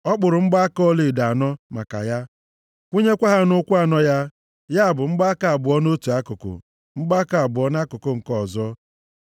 Ọ kpụrụ mgbaaka ọlaedo anọ maka ya, kwụnyekwa ha nʼụkwụ anọ ya, ya bụ mgbaaka abụọ nʼotu akụkụ, mgbaaka abụọ nʼakụkụ nke ọzọ ya.